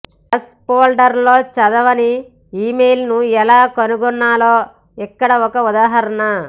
trash ఫోల్డర్లో చదవని ఇమెయిళ్ళను ఎలా కనుగొనాలో ఇక్కడ ఒక ఉదాహరణ